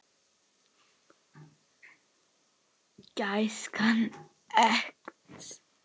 Gæskan eykst.